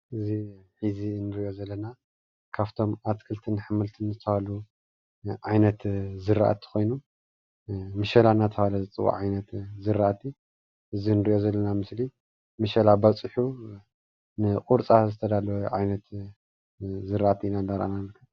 እዚ እዚ እንሪኦ ዘለና ካፍቶም ኣትክልትን ኣሕምልትን ዝተብሃሉ ዓይነት ዝራእቲ ኾይኑ ምሸላ ዳተብሃለ ዝፅዋዕ ዓይነት ዝራእቲ እዚ እንሪኦ ዘለና ምስሊ ምሸላ ባፂሑ ን ቁሩፃ ዝተዳለወ ዓይነት ዝራእቲ ኢና ዳርኣና ንርከብ።